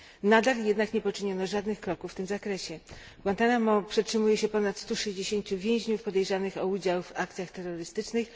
Nadal jednak nie poczyniono żadnych kroków w tym zakresie. W Guantánamo przetrzymuje się ponad 160 więźniów podejrzanych o udział w akcjach terrorystycznych.